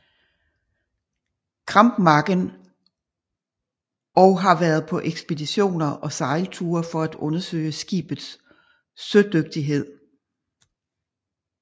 Krampmacken og har været på ekspeditioner og sejlture for at undersøge skibets sødygtighed